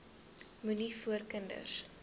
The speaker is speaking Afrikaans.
moenie voor kinders